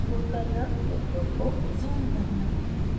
network को zoom करना